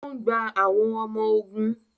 O n gbà àwọn ọmọ ogun